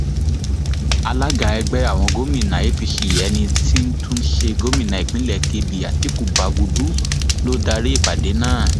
alága ẹgbẹ àwọn gómìnà apc ẹni tí í tún ṣe gómìnà ìpínlẹ kebbi àtiku bagúdù ló darí ìpàdé náà